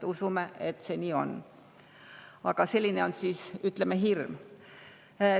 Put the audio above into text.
Usume, et see nii on, aga selline on hirm.